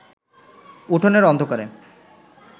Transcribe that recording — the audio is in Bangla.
উঠোনের অন্ধকারে